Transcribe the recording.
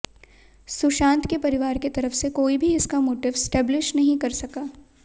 सुशांत के परिवार की तरफ से कोई भी इसका मोटिव एस्टेबलिश नहीं कर सका